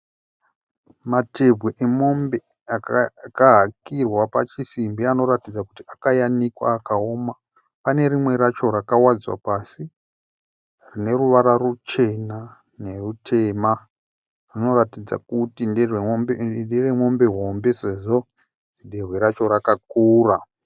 Matehwe emombe akahakirwa pachisimbi anoratidza kuti akayanikwa akaoma. Pane rimwe racho rakawadzwa pasi rine ruvara ruchena nerutema, rinoratidza kuti ndere mombe hombe sezvo dehwe racho rakakura.